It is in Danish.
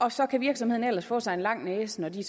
og så kan virksomheden ellers få sig en lang næse når de